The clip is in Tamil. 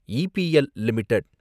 EPL limited